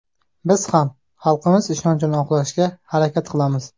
Biz ham xalqimiz ishonchini oqlashga harakat qilamiz.